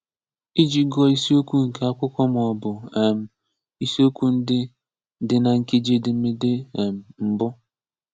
Ịji gụọ isiokwu nke akwụkwọ maọbụ um isiokwu ndị dị na nkeji edemede um mbụ.